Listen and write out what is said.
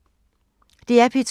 DR P2